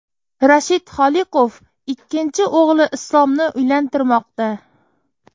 Rashid Holiqov ikkinchi o‘g‘li Islomni uylantirmoqda.